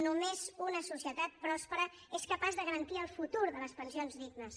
només una societat pròspera és capaç de garantir el futur de les pensions dignes